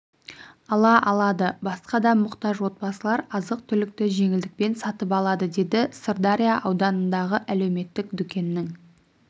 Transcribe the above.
ала алады басқа да мұқтаж отбасылар азық-түлікті жеңілдікпен сатып алады деді сырдария ауданындағы әлеуметтік дүкеннің